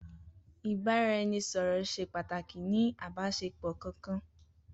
Ibaraẹnisọrọ ṣẹ pàtàkì ni àbànisé pọ kankan.